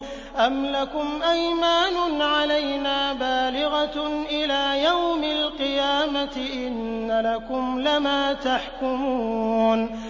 أَمْ لَكُمْ أَيْمَانٌ عَلَيْنَا بَالِغَةٌ إِلَىٰ يَوْمِ الْقِيَامَةِ ۙ إِنَّ لَكُمْ لَمَا تَحْكُمُونَ